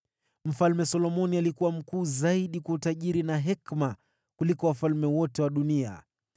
Mfalme Solomoni alikuwa mkuu zaidi kwa utajiri na hekima kuliko wafalme wote wa dunia.